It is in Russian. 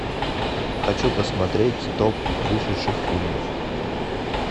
хочу посмотреть топ вышедших фильмов